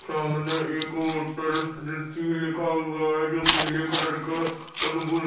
सामने एक होटल लिखा हुआ है जो पीले कलर का --